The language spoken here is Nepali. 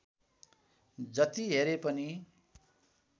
जति हेरे पनि